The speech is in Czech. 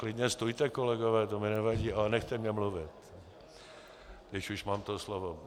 Klidně stůjte, kolegové, to mi nevadí, ale nechte mne mluvit, když už mám to slovo.